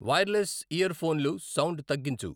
wireless ear ఫోన్లు sound తగ్గించు